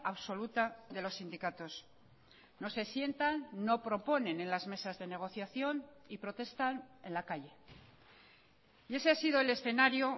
absoluta de los sindicatos no se sientan no proponen en las mesas de negociación y protestan en la calle y ese ha sido el escenario